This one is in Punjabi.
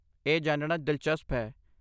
ਇਹ ਜਾਣਨਾ ਦਿਲਚਸਪ ਹੈ।